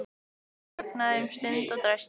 Hann þagnaði um stund og dæsti.